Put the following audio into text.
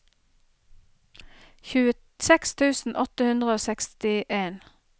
tjueseks tusen åtte hundre og sekstien